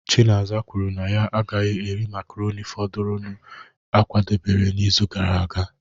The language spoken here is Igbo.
Chineze kwuru na ya agaghị eri makaroni fọdụrụnụ a kwadebere n'izu gara aga